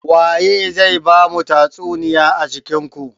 Waye zai bamu tatsuniya a cikin ku?